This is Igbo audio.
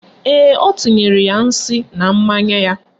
Ee, o tinyere ya nsị na mmanya ya